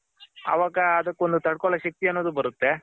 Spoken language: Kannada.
ಅವಾಗ ಅದಕ್ಕೊಂದ್ ತಡ್ಕೋಳೋ ಶಕ್ತಿ ಅನ್ನೋದು ಬರುತ್ತೆ